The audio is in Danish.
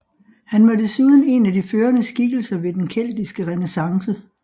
Han var desuden en af de førende skikkelser ved den keltiske renæssance